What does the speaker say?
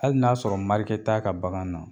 Hali n'a y'a sɔrɔ marike t'a ka bagan na